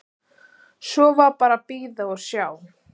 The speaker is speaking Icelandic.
Svo var bara að bíða og sjá.